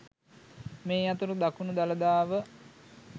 මේ අතර දකුණු දළදාව